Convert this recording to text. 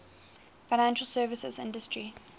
financial services industry